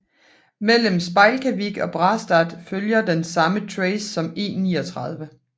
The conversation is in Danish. Mellem Spjelkavik og Brastad følger den samme tracé som E39